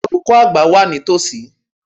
Olùkọ́ àgbà wà ní tòsí.